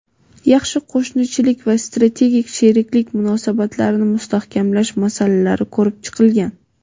yaxshi qo‘shnichilik va strategik sheriklik munosabatlarini mustahkamlash masalalari ko‘rib chiqilgan.